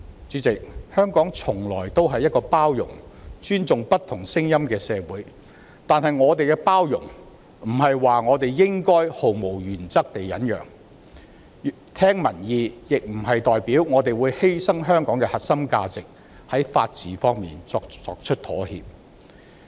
主席，香港從來是一個包容並尊重不同聲音的社會；但是，包容的意思並非指我們應該毫無原則地忍讓，聆聽民意亦不是說我們會犧牲香港的核心價值，在法治方面作出妥協。